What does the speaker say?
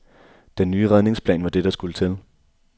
Den nye redningsplan var det, der skulle til.